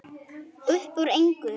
Uppúr engu?